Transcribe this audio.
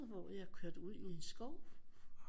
Hvor jeg kørte ud i en skov